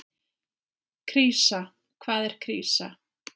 Krísa, hvað er krísa?